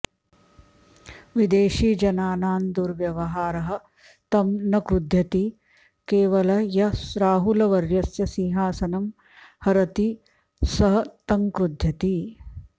विदेशीजनानां दुर्व्यवहारः तम् न क्रुध्यति केवलः यः राहुलवर्यस्य सिंहासनं हरति सः तं क्रुध्यति